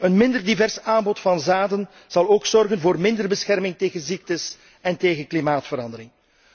Een minder divers aanbod van zaden zal ook zorgen voor minder bescherming tegen ziektes en tegen klimaatverandering.